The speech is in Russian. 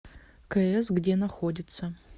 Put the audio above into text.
к с где находится